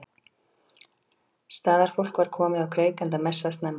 Staðarfólk var komið á kreik enda messað snemma.